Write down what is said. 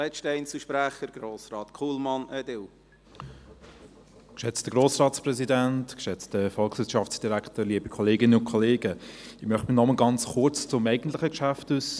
Ich möchte mich noch einmal ganz kurz zum eigentlichen Geschäft äussern.